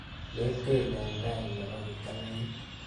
Metel eng tai nebo kiptang'anyit.